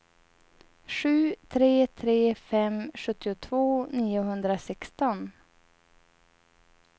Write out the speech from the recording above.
sju tre tre fem sjuttiotvå niohundrasexton